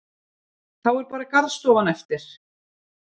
Þá er bara garðstofan eftir.